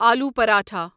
آلو پراٹھا